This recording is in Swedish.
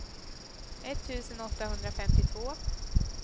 etttusen åttahundrafemtiotvå